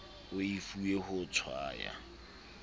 o e fuweng ho tshwaya